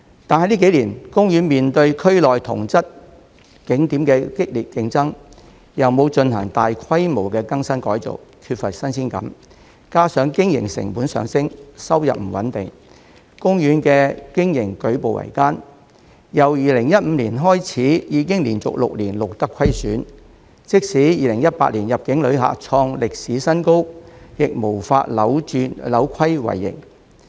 但近幾年，公園面對區內同質景點的激烈競爭，又沒有進行大規模的更新改造，缺乏新鮮感，加上經營成本上升，收入不穩定，公園的經營舉步維艱，由2015年開始已經連續6年錄得虧損，即使2018年入境旅客創歷史新高，亦無法扭虧為盈。